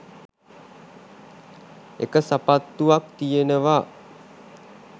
එක සපත්තුවක් තියෙනවා